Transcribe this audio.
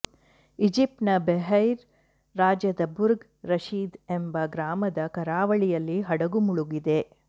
ಈಜಿಪ್ಟ್ನ Beheira ರಾಜ್ಯದ Burg Rashid ಎಂಬ ಗ್ರಾಮದ ಕರಾವಳಿಯಲ್ಲಿ ಹಡಗು ಮುಳುಗಿದೆ